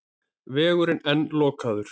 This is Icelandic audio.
Vegurinn enn lokaður